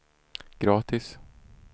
gratis